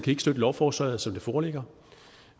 ikke støtte lovforslaget som det foreligger